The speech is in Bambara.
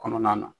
Kɔnɔna na